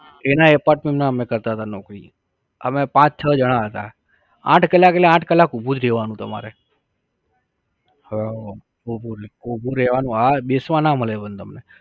એના apartment માં અમે કરતા તા નોકરી. અમે પાચ છ જણા હતા. આંઠ કલાક એટલે આંઠ કલાક ઉભું જ રેવાનું તમારે. હ ઊભું જ, ઊભું રેવાનું હા બેસવા ના મળે પણ તમને